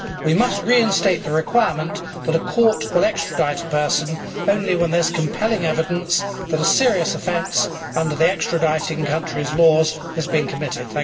We must reinstate the requirement that a court will extradite a person only when there is compelling evidence that a serious offence under the extraditing country's laws has been committed.